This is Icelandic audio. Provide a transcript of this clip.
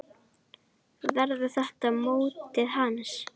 Verður þetta mótið hans?